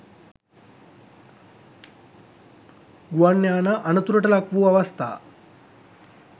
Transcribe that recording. ගුවන් යානා අනතුරට ලක්වූ අවස්ථා